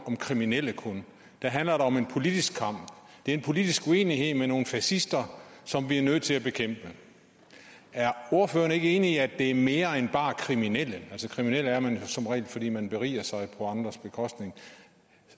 om kriminelle der handler det om en politisk kamp det er en politisk uenighed med nogle fascister som vi er nødt til at bekæmpe er ordføreren ikke enig i at de er mere end bare kriminelle altså kriminel er man som regel fordi man beriger sig på andres bekostning